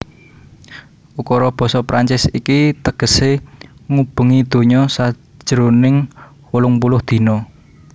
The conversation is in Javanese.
Ukara basa Prancis iki tegesé Ngubengi Donya sajroning wolung puluh Dina